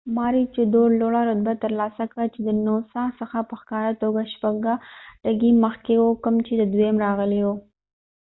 ماروچیدور لوړه رتبه ترلاسه کړه چې د نوسا څخه په ښکاره توګه شپږه ټکي مخکې و کوم چې دویم راغلی و